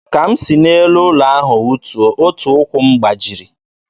Ka m si n'elu ụlọ elu ahụ wụtuo, otu ụkwụ m gbajiri.